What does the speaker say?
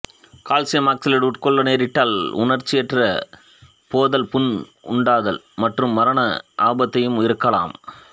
calcium oxalate உட்கொள்ல நேரிட்டால் உணர்ச்சியற்றுப் போதல் புண் உண்டாதல் மற்றும் மரண ஆபத்தாகவும் இருக்கலாம்